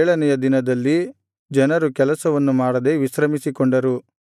ಆದುದರಿಂದ ಏಳನೆಯ ದಿನದಲ್ಲಿ ಜನರು ಕೆಲಸವನ್ನು ಮಾಡದೆ ವಿಶ್ರಮಿಸಿಕೊಂಡರು